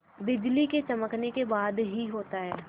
बिजली के चमकने के बाद ही होता है